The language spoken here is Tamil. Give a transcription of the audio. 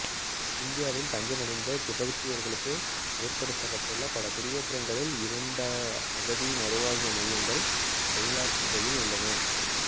இந்தியாவில் தஞ்சமடைந்த திபெத்தியர்களுக்காக ஏற்படுத்தப்பட்ட பல குடியேற்றங்களில் இரண்டு அகதி மறுவாழ்வு மையங்கள் பைலக்குப்பேயில் உள்ளன